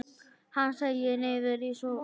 Hann seig niður í sófann.